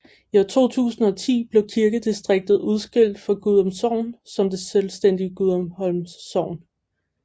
I 2010 blev kirkedistriktet udskilt fra Gudum Sogn som det selvstændige Gudumholm Sogn